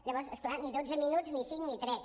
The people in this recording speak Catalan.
llavors és clar ni dotze minuts ni cinc ni tres